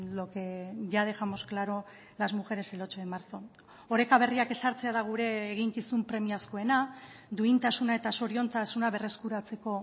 lo que ya dejamos claro las mujeres el ocho de marzo oreka berriak ezartzea da gure eginkizun premiazkoena duintasuna eta zoriontasuna berreskuratzeko